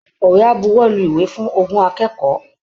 Akọ̀wé á buwọ́lu ìwé fún ogún akẹ́kọ̀ọ́